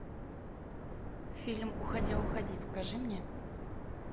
фильм уходя уходи покажи мне